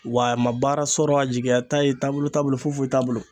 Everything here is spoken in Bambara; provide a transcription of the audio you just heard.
Wa a ma baara sɔrɔ a jigiya t'a ye taabolo t'a bolo fofoyi t'a bolo